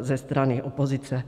ze strany opozice.